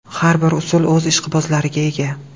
Har bir usul o‘z ishqibozlariga ega.